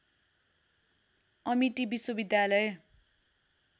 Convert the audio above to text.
Amity विश्वविद्यालय